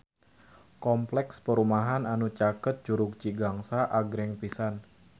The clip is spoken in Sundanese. Kompleks perumahan anu caket Curug Cigangsa agreng pisan